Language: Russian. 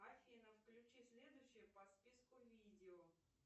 афина включи следующее по списку видео